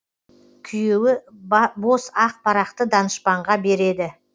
күйеуі бос ақ парақты данышпанға береді